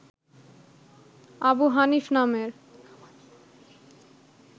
আবু হানিফ নামের